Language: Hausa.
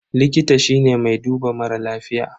Likita shine mai duba mara lafiya.